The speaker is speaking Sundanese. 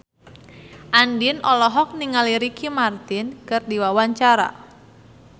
Andien olohok ningali Ricky Martin keur diwawancara